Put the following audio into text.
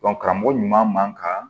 karamɔgɔ ɲuman man kan